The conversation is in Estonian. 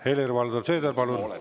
Helir-Valdor Seeder, palun!